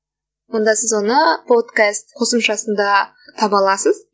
сонда сіз оны подкаст қосымшасында таба аласыз